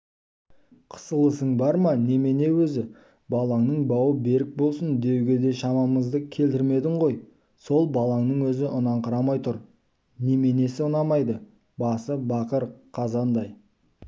қысылысың бар ма немене өзі балаңның бауы берік болсын деуге де шамамызды келтірмедің ғой сол баланың өзі ұнаңқырамай тұр неменесі ұнамайды басы бақыр қазандай